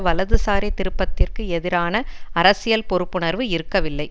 வலதுசாரி திருப்பத்திற்கு எதிரான அரசியல் பொறுப்புணர்வு இருக்கவில்லை